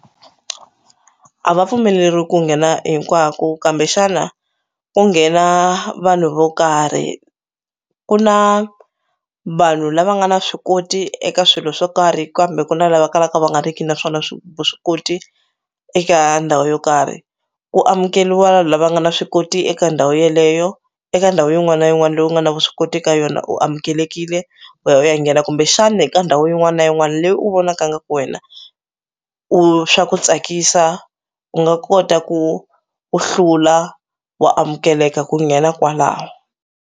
A va pfumeleriwi ku nghena hinkwako kambexana ko nghena vanhu vo karhi ku na vanhu lava nga na swi koti eka swilo swo karhi kambe ku na lava kalaka va nga ri ki naswona vuswikoti eka ndhawu yo karhi ku amukeliwa lava nga na swi koti eka ndhawu yeleyo eka ndhawu yin'wani na yin'wani leyi u nga na vuswikoti ka yona u amukelekile u ya u ya nghena kumbexani ka ndhawu yin'wani na yin'wani leyi u vonaka ingaku wena u swa ku tsakisa u nga kota ku u hlula wa amukeleka ku nghena kwalaho.